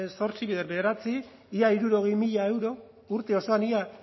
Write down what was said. zortzi bider bederatzi ia hirurogei mila euro urte osoan ia